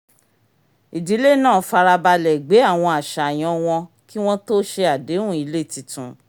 ìdílé náà fara balẹ̀ gbé àwọn àṣàyàn wọn kí wọ́n tó ṣe àdéhùn ilé tuntun